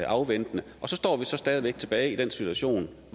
afventende og så står vi stadig væk i den situation